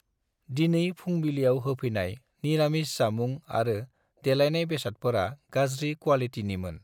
दिनै फुंबिलियाव होफैनाय निरामिस जामुं आरो देलायनाय बेसादफोरा गाज्रि क्वालिटिनिमोन।